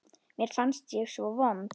Mér fannst ég svo vond.